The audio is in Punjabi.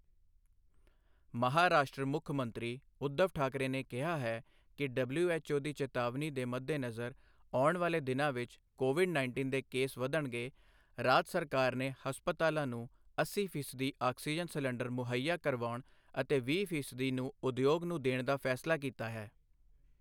ਮਹਾਰਾਸ਼ਟਰ ਮੁੱਖ ਮੰਤਰੀ ਉਧਵ ਠਾਕਰੇ ਨੇ ਕਿਹਾ ਹੈ ਕਿ ਡਬਲਯੂਐੱਚਓ ਦੀ ਚੇਤਾਵਨੀ ਦੇ ਮੱਦੇਨਜ਼ਰ, ਆਉਣ ਵਾਲੇ ਦਿਨਾਂ ਵਿੱਚ ਕੋਵਿਡ ਉੱਨੀ ਦੇ ਕੇਸ ਵਧਣਗੇ, ਰਾਜ ਸਰਕਾਰ ਨੇ ਹਸਪਤਾਲਾਂ ਨੂੰ ਅੱਸੀ ਫ਼ੀਸਦੀ ਆਕਸੀਜਨ ਸਿਲੰਡਰ ਮੁਹੱਈਆ ਕਰਾਉਣ ਅਤੇ ਵੀਹ ਫ਼ੀਸਦੀ ਨੂੰ ਉਦਯੋਗ ਨੂੰ ਦੇਣ ਦਾ ਫੈਸਲਾ ਕੀਤਾ ਹੈ।